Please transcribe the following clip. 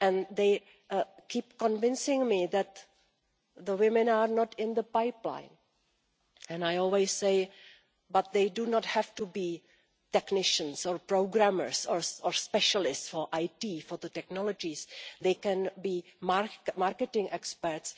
They keep convincing me that women are not in the pipeline, but I always say that they do not have to be technicians or programmers or specialists for IT, for the technologies they can be marketing experts